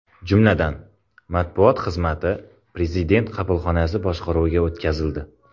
Jumladan, matbuot xizmati Prezident qabulxonasi boshqaruviga o‘tkazildi.